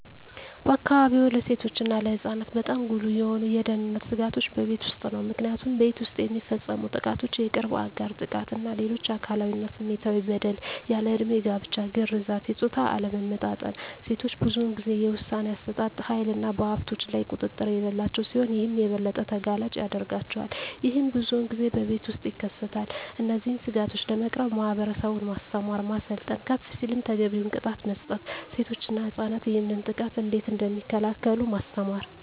በአካባቢዎ ለሴቶች እና ለህፃናት በጣም ጉልህ የሆኑ የደህንነት ስጋቶች በቤት ውስጥ ነው። ምክንያቱም ቤት ውስጥ የሚፈፀሙ ጥቃቶች የቅርብ አጋር ጥቃት እና ሌሎች አካላዊ እና ስሜታዊ በደል፣ ያልድሜ ጋብቻ፣ ግርዛት፣ የፆታ አለመመጣጠን፣ ሴቶች ብዙን ጊዜ የውሣኔ አሠጣጥ ሀይልና በሀብቶች ላይ ቁጥጥር የሌላቸው ሲሆን ይህም የበለጠ ተጋላጭ ያደርጋቸዋል። ይህም ብዙን ጊዜ በቤት ውስጥ ይከሰታል። እነዚህን ስጋቶች ለመቅረፍ ማህበረሰቡን ማስተማር፣ ማሰልጠን፣ ከፍ ሲልም ተገቢውን ቅጣት መስጠት፣ ሴቶች እና ህፃናት ይህንን ጥቃት እንዴት እደሚከላከሉ ማስተማር።